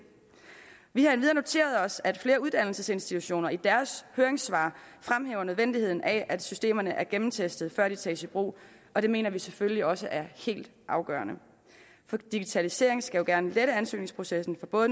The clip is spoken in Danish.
vi har endvidere noteret os at flere uddannelsesinstitutioner i deres høringssvar fremhæver nødvendigheden af at systemerne er gennemtestede før de tages i brug og det mener vi selvfølgelig også er helt afgørende for digitaliseringen skal jo gerne lette ansøgningsprocessen for både